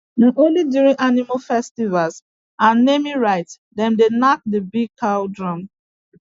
na only during animal festival and naming rites them dey knack the big cow drum